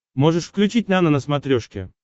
можешь включить нано на смотрешке